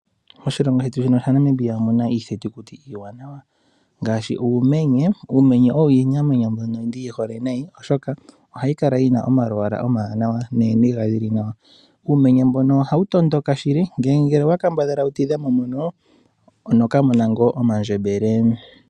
Oshilongo shetu shino shaNamibia omu na iithitukuti iiwanawa ngaashi uumenye. Uumeye owo iinamwenyo mbyono ndi yi hole nayi, oshoka ohayi kala yi na omalwala omawanawa nooniga dhi li nawa uumenye mbono ohawu tondoka shili, ngele owa kambadhala wu tidhe mo mono onoka mona go omandjembele.